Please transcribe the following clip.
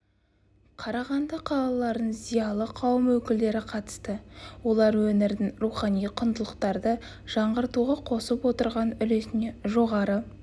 қарағанды қалаларының зиялы қауым өкілдері қатысты олар өңірдің рухани құндылықтарды жаңғыртуға қосып отырған үлесіне жоғары